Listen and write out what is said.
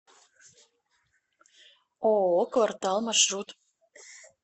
ооо квартал маршрут